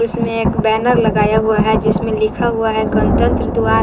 इसमें एक बैनर लगाया हुआ है जिसमें लिखा हुआ है गणतंत्र द्वार।